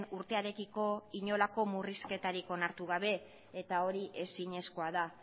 urtearekiko inolako murrizketarik onartu gabe eta hori ezinezkoa da